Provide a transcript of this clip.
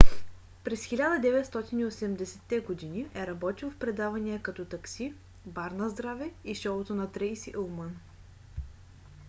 през 1980-те години е работил в предавания като такси бар наздраве и шоуто на трейси улман